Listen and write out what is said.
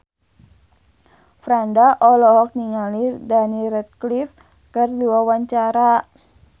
Franda olohok ningali Daniel Radcliffe keur diwawancara